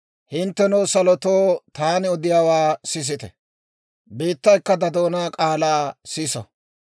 Hinttenoo, salotoo, taani odiyaawaa sisite; biittaykka ta doonaa k'aalaa siso.